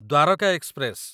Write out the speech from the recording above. Dwarka express